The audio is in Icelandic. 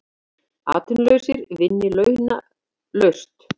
Atvinnulausir vinni launalaust